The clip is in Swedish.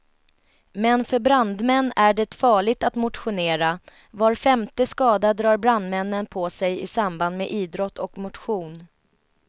Men för brandmän är det farligt att motionera, var femte skada drar brandmännen på sig i samband med idrott och motion.